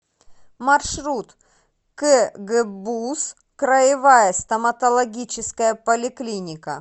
маршрут кгбуз краевая стоматологическая поликлиника